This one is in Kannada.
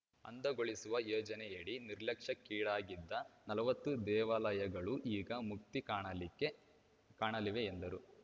ಅಂದಗೊಳಿಸುವ ಯೋಜನೆಯಡಿ ನಿರ್ಲಕ್ಷ್ಯಕ್ಕೀಡಾಗಿದ್ದ ನಲವತ್ತು ದೇವಾಲಯಗಳೂ ಈಗ ಮುಕ್ತಿಕಾಣಲಿವೆ ಎಂದರು